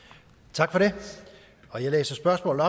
tak for det det næste spørgsmål